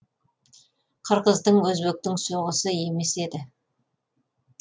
қырғыздың өзбектің соғысы емес еді